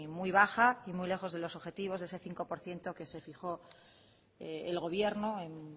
muy baja y muy lejos de los objetivos de ese cinco por ciento que se fijó el gobierno en